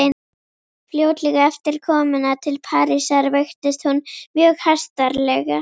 Fljótlega eftir komuna til Parísar veiktist hún mjög hastarlega.